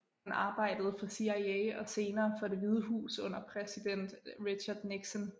Han arbejdede for CIA og senere for Det Hvide Hus under præsiden Richard Nixon